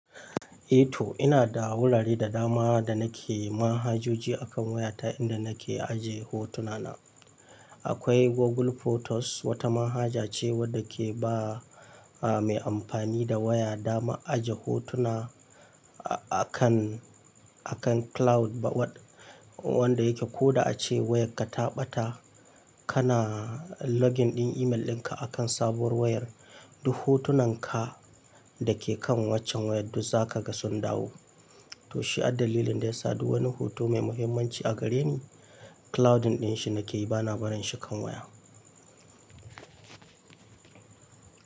Eh to ina da wurare da dama da nake manhajoji akan waya ta inda nake aje hotuna na. Akwai Google Photos wata manhaja ce wadda ke ba a-mai amfani da waya dama aje hotuna a-akan, akan cloud ba wad wanda yake ko da ace wayar ka ta ɓata kana login ɗin email ɗinka akan sabuwar wayar, duk hotunan ka dake kan waccen wayar duk zaka ga sun dawo. To shi addalilin da ya sadu wani hoto mai muhimmanci a gare ni cloud ɗin shi nake yi bana barin shi kan waya.